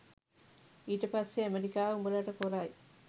ඊට පස්සෙ ඇමරිකාව උඹලට කොරයි